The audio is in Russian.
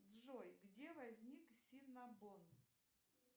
джой где возник синабон